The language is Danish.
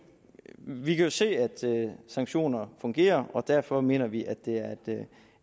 vi kan se at sanktioner fungerer og derfor mener vi at det er